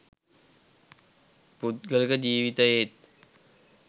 පුද්ගලික ජීවිතයේත්